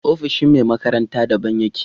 Ofishin me makaranta da ban yake